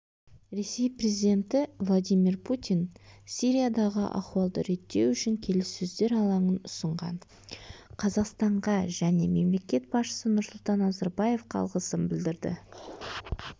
ресей президенті владимир путин сириядағы ахуалды реттеу үшін келіссөздер алаңын ұсынған қазақстанға және мемлекет басшысы нұрсұлтан назарбаевқа алғысын білдірді